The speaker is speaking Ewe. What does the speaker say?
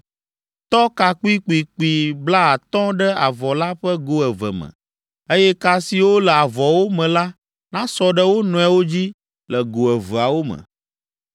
Tɔ ka kpuikpuikpui blaatɔ̃ ɖe avɔ la ƒe go eve me, eye ka siwo le avɔwo me la nasɔ ɖe wo nɔewo dzi le go eveawo me.